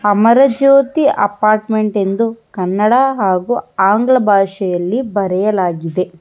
ಅಮರ Jyothi apartment ಎಂದು ಕನ್ನಡ ಹಾಗು ಆಂಗ್ಲ ಭಾಷೆಯಲ್ಲಿ ಬರೆಯಲಾಗಿದೆ.